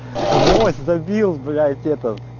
гвоздь забил блять этот